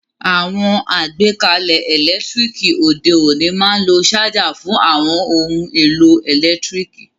Àwon àgbékalẹ̀ ẹ́lẹ̀ntirikì òde ọ̀ní ma n lo charger fun àwon oun èlò ẹ́lẹ̀ntirikì